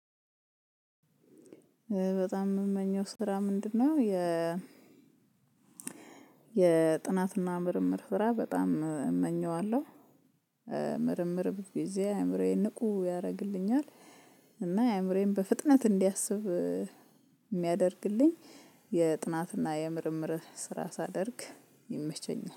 በጣም የምመኘው ስራ ምንድነው? የ የጥናትና ምርምር ስራ በጣም እመኘዋለሁ። ምርምር ብዙ ጊዜ አእምሮዬን ንቁ ያደርግልኛል። እና አእምሮዬን በፍጥነት እንዲያስብ የሚያደርግልኝ የጥናትና የምርምር ስራ ሳደርግ ይመቸኛል